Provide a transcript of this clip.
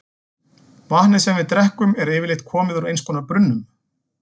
Vatnið sem við drekkum er yfirleitt komið úr einhvers konar brunnum.